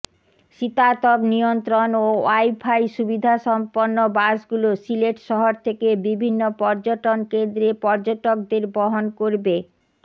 শীতাতপ নিয়ন্ত্রণ ও ওয়াইফাই সুবিধাসম্পন্ন বাসগুলো সিলেট শহর থেকে বিভিন্ন পর্যটন কেন্দ্রে পর্যটকদের বহন করবে